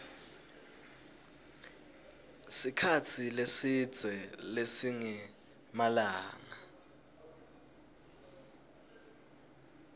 sikhatsi lesidze lesingemalanga